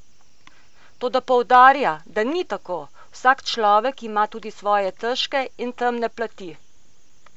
Toda poudarja, da ni tako: 'Vsak človek ima tudi svoje težke in temne plati.